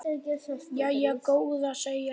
Jæja góða, segir hann.